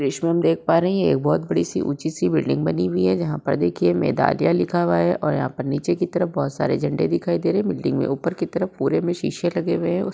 दृश्य में हम देख पा रहे हैं ये एक बोहोत बड़ी सी ऊंची सी बिल्डिंग बनी हुई है। जहां पर देखिए मेदलाया लिखा हुआ है और यहां नीचे की तरफ बोहोत सारे झंडे दिखाई दे रहे हैं। बिल्डिंग में ऊपर की तरफ पूरे में शीशे लगे हुए हैं।